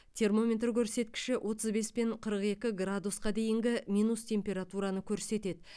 термометр көрсеткіші отыз бес пен қырық екі градусқа дейінгі минус температураны көрсетеді